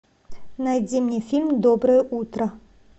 найди мне фильм доброе утро